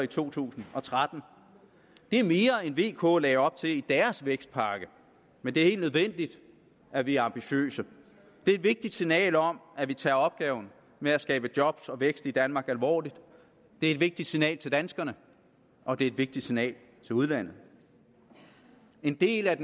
to tusind og tretten det er mere end vk lagde op til i deres vækstpakke men det er helt nødvendigt at vi er ambitiøse det er et vigtigt signal om at vi tager opgaven med at skabe job og vækst i danmark alvorligt det er et vigtigt signal til danskerne og det er et vigtigt signal til udlandet en del af